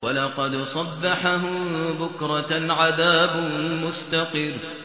وَلَقَدْ صَبَّحَهُم بُكْرَةً عَذَابٌ مُّسْتَقِرٌّ